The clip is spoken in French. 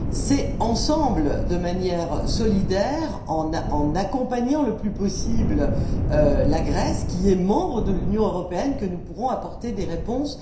C'est ensemble, de manière solidaire, en accompagnant le plus possible la Grèce qui est membre de l'Union européenne, que nous pourrons apporter des réponses.